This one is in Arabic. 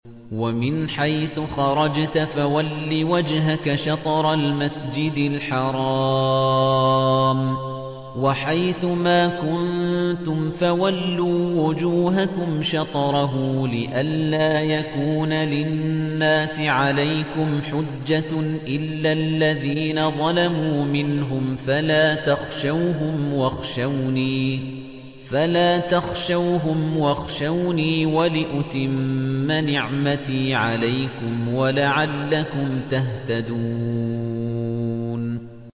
وَمِنْ حَيْثُ خَرَجْتَ فَوَلِّ وَجْهَكَ شَطْرَ الْمَسْجِدِ الْحَرَامِ ۚ وَحَيْثُ مَا كُنتُمْ فَوَلُّوا وُجُوهَكُمْ شَطْرَهُ لِئَلَّا يَكُونَ لِلنَّاسِ عَلَيْكُمْ حُجَّةٌ إِلَّا الَّذِينَ ظَلَمُوا مِنْهُمْ فَلَا تَخْشَوْهُمْ وَاخْشَوْنِي وَلِأُتِمَّ نِعْمَتِي عَلَيْكُمْ وَلَعَلَّكُمْ تَهْتَدُونَ